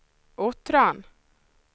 Uttran